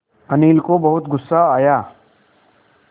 अनिल को बहुत गु़स्सा आया